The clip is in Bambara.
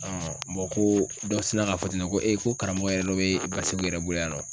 ko dɔ sina ka fɔ ten nɔ ko ko karamɔgɔ yɛrɛ dɔ bɛ Baseku yɛrɛ bolo yan nɔ